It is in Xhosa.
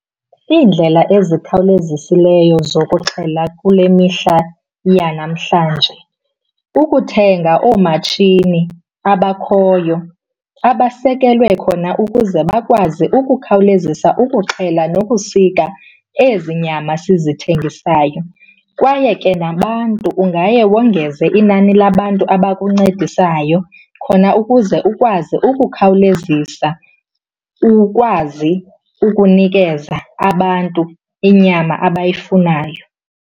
Iindlela ezikhawulezisileyo zokuxhela kule mihla yanamhlanje kukuthenga oomatshini abakhoyo abasekelwe khona ukuze bakwazi ukukhawulezisa ukuxhela nokusika ezi nyama sizithengisayo. Kwaye ke nabantu, ungaye wongeze inani labantu abakuncedisayo khona ukuze ukwazi ukukhawulezisa ukwazi ukunikeza abantu inyama abayifunayo.